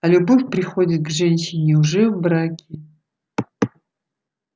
а любовь приходит к женщине уже в браке